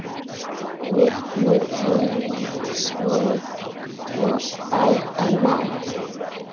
Villur í ritsmíð bæta má.